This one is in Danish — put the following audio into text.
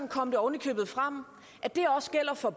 kom det oven i købet frem at det også gælder for